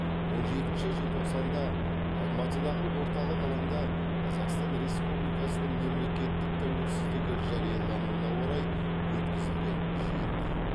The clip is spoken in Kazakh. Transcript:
он жетінші желтоқсанда алматыдағы орталық алаңда қазақстан республикасының мемлекеттік тәуелсіздігі жариялануына орай өткізілген жиында